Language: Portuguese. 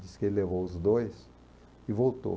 Diz que ele levou os dois e voltou.